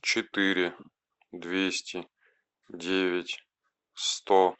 четыре двести девять сто